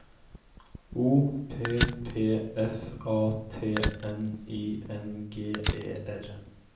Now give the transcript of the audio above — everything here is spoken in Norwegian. O P P F A T N I N G E R